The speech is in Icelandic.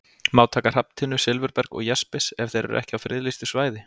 Má taka hrafntinnu, silfurberg og jaspis ef þeir eru ekki á friðlýstu svæði?